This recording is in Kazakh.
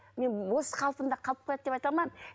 мен осы қалпында қалып қалады деп айта алмаймын